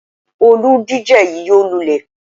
Olùdíje yí yóò lulẹ̀.